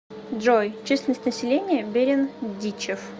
джой численность населения берендичев